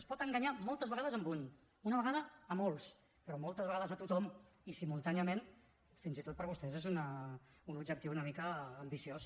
es pot enganyar moltes vegades a un una vegada a molts però moltes vegades a tothom i simultàniament fins i tot per vostès és un objectiu una mica ambiciós